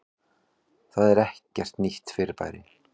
Það er ekkert nýtt fyrirbæri.